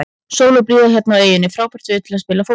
Sól og blíða hérna í eyjum, frábært veður til að spila fótbolta.